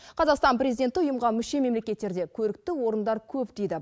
қазақстан президенті ұйымға мүше мемлекеттерде көрікті орындар көп дейді